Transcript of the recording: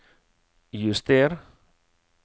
juster